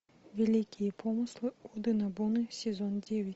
великие помыслы оды нобуны сезон девять